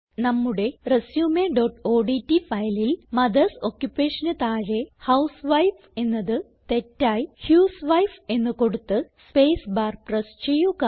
നമ്മുടെ resumeഓഡ്റ്റ് ഫയലിൽ മദർസ് Occupationന് താഴെ ഹൌസ്വൈഫ് എന്നത് തെറ്റായി ഹ്യൂസ്വൈഫ് എന്ന് കൊടുത്ത് സ്പേസ് ബാർ പ്രസ് ചെയ്യുക